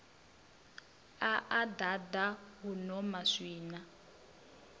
a a ḓaḓa huno maswina